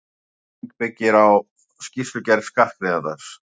Skattlagning byggir á skýrslugerð skattgreiðandans.